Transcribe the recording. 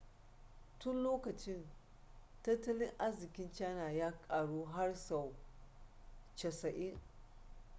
tun lokacin tattalin arzikin china ya karu har sau 90